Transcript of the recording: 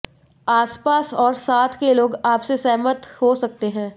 आसपास और साथ के लोग आपसे सहमत हो सकते हैं